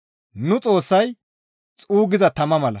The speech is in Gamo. Nu Xoossay xuuggiza tama mala.